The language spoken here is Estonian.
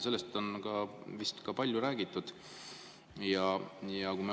Sellest on vist palju räägitud.